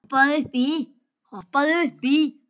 Hoppaðu upp í.